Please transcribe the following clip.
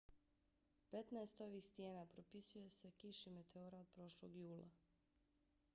petnaest ovih stijena pripisuje se kiši meteora od prošlog jula